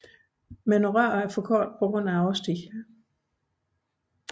Men rørene er for korte på grund af årstiden